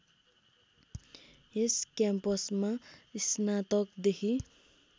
यस क्याम्पसमा स्नातकदेखि